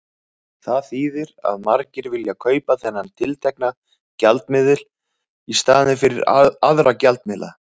Það þýðir að margir vilja kaupa þennan tiltekna gjaldmiðil í staðinn fyrir aðra gjaldmiðla.